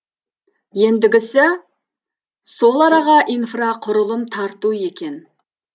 ендігісі сол араға инфрақұрылым тарту екен